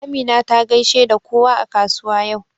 Amina ta gaishe da kowa a kasuwa yau.